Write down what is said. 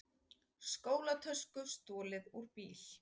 Skólatösku stolið úr bíl